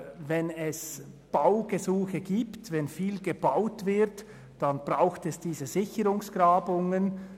Wenn viel gebaut wird, braucht es diese Sicherungsgrabungen.